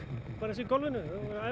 eins og í golfinu þú